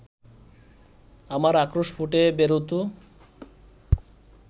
আমার আক্রোশ ফুটে বেরোত